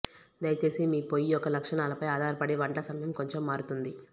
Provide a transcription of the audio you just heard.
దయచేసి మీ పొయ్యి యొక్క లక్షణాలపై ఆధారపడి వంట సమయం కొంచెం మారుతుంది